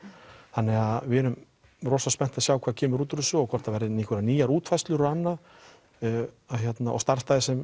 þannig að við erum rosa spennt að sjá hvað kemur út úr þessu og hvort að það verði einhverjar nýjar útfærslur og annað og starfsstaðir sem